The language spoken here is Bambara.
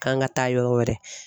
K'an ka taa yɔrɔ wɛrɛ.